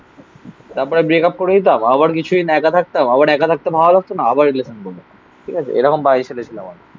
তারপরে ব্রেকআপ করে দিতাম. আবার কিছুই একা থাকতাম. আবার একা থাকতে ভালো লাগতো না. আবার রিলেশন করবো. ঠিক আছে. এরকম বাজে ছেলে ছিলাম আমি.